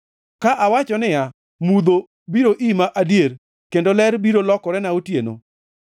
Ka awacho niya, “Mudho biro ima adier kendo ler biro lokorena otieno,”